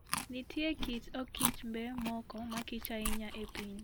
Nitie kit okichmbe moko makich ahinya e piny.